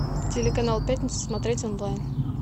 телеканал пятница смотреть онлайн